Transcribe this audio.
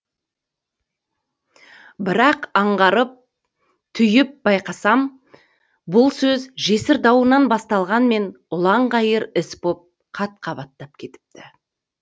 бірақ аңғарып түйіп байқасам бұл сөз жесір дауынан басталғанмен ұланғайыр іс боп қат қабаттап кетіпті